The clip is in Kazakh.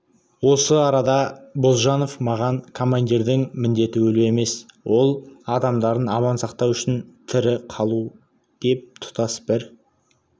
осы арада бозжанов маған командирдің міндеті өлу емес өз адамдарын аман сақтау үшін тірі қалу деп тұтас бір